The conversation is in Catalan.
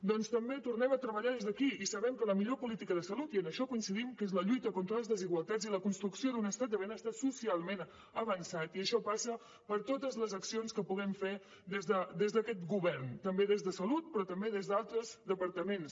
doncs també tornem a treballar des d’aquí i sabem que la millor política de salut i en això coincidim que és la lluita contra les desigualtats i la construcció d’un estat de benestar socialment avançat i això passa per totes les accions que puguem fer des d’aquest govern també des de salut però també des d’altres departaments